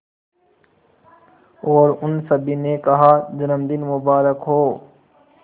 और उन सभी ने कहा जन्मदिन मुबारक हो